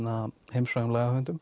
heimsfrægum